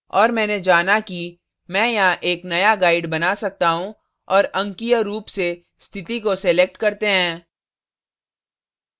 और मैंने जाना कि मैं यहाँ एक new guide बना सकता हूँ और अंकीय रूप से स्थिति को select करते हैं